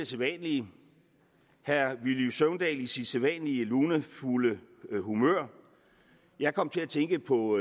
sædvanlige herre villy søvndal i sit sædvanlige lunefulde humør jeg kom til at tænke på